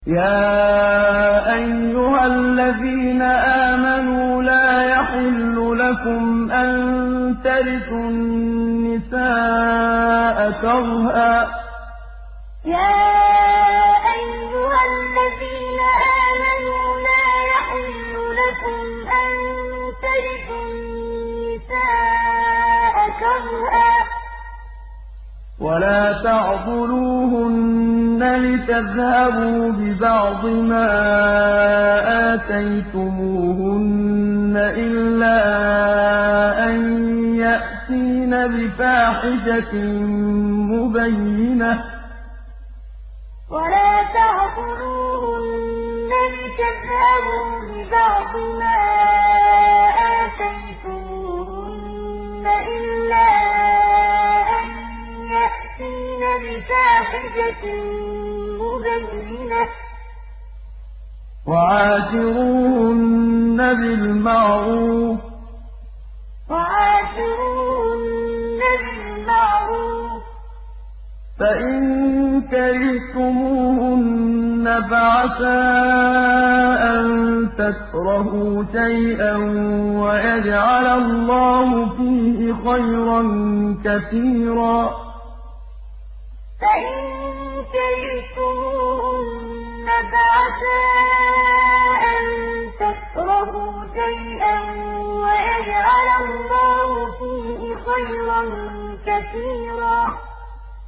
يَا أَيُّهَا الَّذِينَ آمَنُوا لَا يَحِلُّ لَكُمْ أَن تَرِثُوا النِّسَاءَ كَرْهًا ۖ وَلَا تَعْضُلُوهُنَّ لِتَذْهَبُوا بِبَعْضِ مَا آتَيْتُمُوهُنَّ إِلَّا أَن يَأْتِينَ بِفَاحِشَةٍ مُّبَيِّنَةٍ ۚ وَعَاشِرُوهُنَّ بِالْمَعْرُوفِ ۚ فَإِن كَرِهْتُمُوهُنَّ فَعَسَىٰ أَن تَكْرَهُوا شَيْئًا وَيَجْعَلَ اللَّهُ فِيهِ خَيْرًا كَثِيرًا يَا أَيُّهَا الَّذِينَ آمَنُوا لَا يَحِلُّ لَكُمْ أَن تَرِثُوا النِّسَاءَ كَرْهًا ۖ وَلَا تَعْضُلُوهُنَّ لِتَذْهَبُوا بِبَعْضِ مَا آتَيْتُمُوهُنَّ إِلَّا أَن يَأْتِينَ بِفَاحِشَةٍ مُّبَيِّنَةٍ ۚ وَعَاشِرُوهُنَّ بِالْمَعْرُوفِ ۚ فَإِن كَرِهْتُمُوهُنَّ فَعَسَىٰ أَن تَكْرَهُوا شَيْئًا وَيَجْعَلَ اللَّهُ فِيهِ خَيْرًا كَثِيرًا